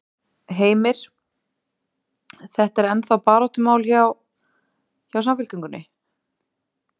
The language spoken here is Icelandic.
Heimir: Þetta er ennþá baráttumál hjá, hjá Samfylkingunni?